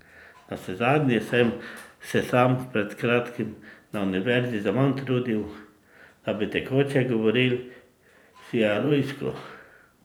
Navsezadnje sem se sam pred kratkim na Univerzi zaman trudil, da bi tekoče govoril siarujsko.